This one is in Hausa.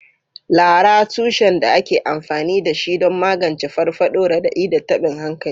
Laraa, tushen da ake amfani da shi don magance farfaɗo, raɗaɗi, da tabin hankali.